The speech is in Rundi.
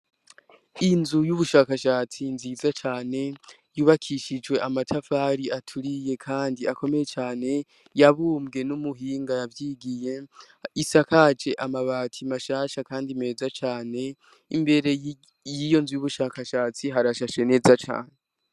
Inzu y'ubushakashatsi nziza cane yubakishijwe amatafari aturiye, kandi akomeye cane yabumbwe n'umuhinga yavyigiye isakaje amabati mashasha, kandi meza cane imbere yiyo nzu y'ubushakashatsi harashashe neza cane.